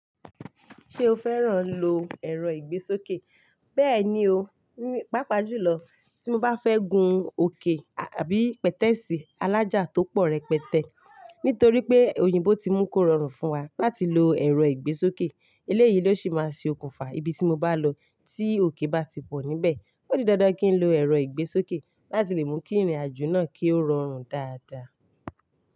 Ṣé o fẹ́ràn lo ẹ̀rọ ìgbésókè? Bẹ́ẹ̀ni o, ní- ní- pàápàá jùlọ tí mo bá fẹ́ gun òkè àbí pẹ̀tẹ́ẹ̀sì alájà tó pọ̀ rẹpẹtẹ. Nítorí pé òyìnbó ti mú kó rọrùn fún wa láti lo ẹ̀rọ ìgbésókè, eléyìí ló sì máa ṣe okùnfà ibi tí mo bá lọ tí òkè bá ti pọ̀ níbẹ̀. Ó di dandan kí n lo ẹ̀rọ ìgbésókè láti lè mú kí ìrìnàjò náà kí ó rọrùn dáadáa.